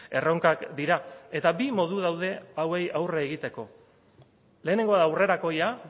erronkak dira eta bi modu daude hauei aurre egiteko lehenengoa da aurrerakoia